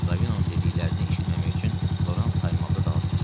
Ravinonun dediklərini eşitməmək üçün Loran saymaqda davam eləyirdi.